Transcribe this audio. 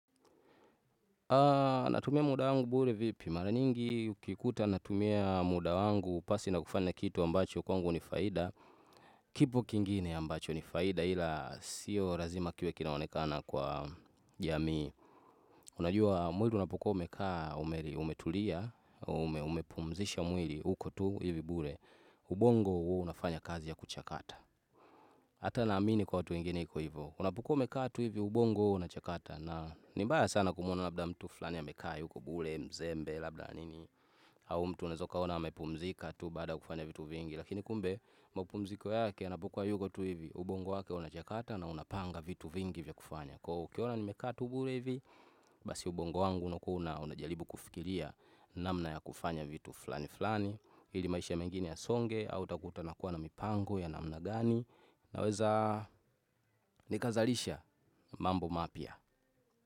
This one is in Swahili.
Natumia muda wangu bure vipi mara nyingi ukikuta natumia muda wangu pasi na kufanya kitu ambacho kwangu ni faida kipo kingine ambacho ni faida ila siyo razima kiwe kinaonekana kwa jamii Unajua mwili unapokoa umekaa umeli umetulia umepumzisha mwili huko tu hivi bure ubongo huwa unafanya kazi ya kuchakata Hata naamini kwa watu wengine iko hivo Unapokuwa umekaa tu hivi ubongo huo unachakata na ni mbaya sana kumwona labda mtu flani amekaa yuko bule mzembe labda nini au mtu unaeza ukaona amepumzika tu baada ya kufanya vitu vingi Lakini kumbe mapumziko yake yanapokuwa yuko tu hivi ubongo wake unachakata na unapanga vitu vingi vya kufanya Kwaio ukiona nimekaa tu bule hivi Basi ubongo wangu unakuwa una unajaribu kufikiria namna ya kufanya vitu flani flani ili maisha mengine yasonge au utakuta nakuwa na mipango ya namna gani Naweza nikazalisha mambo mapya.